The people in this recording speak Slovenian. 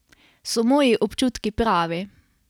So moji občutki pravi?